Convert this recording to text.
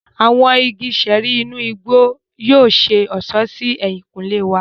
Awọn ìgi ṣẹẹri inú igbó yóò ṣe ọṣọ sí ehinkunle wà.